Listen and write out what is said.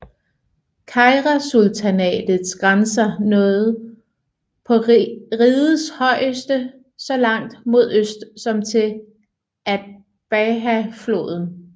Keirasultanatets grænser nåede på rigets højeste så langt mod øst som til Atbarahfloden